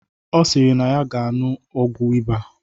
Ọ sịrị na ya ga aṅụ ọgwụ ịba